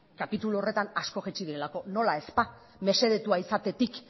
kapitulu horretan asko jaitsi direlako nola ez ba mesedetua izatetik